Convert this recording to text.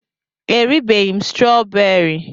E ribeghị m strooberi.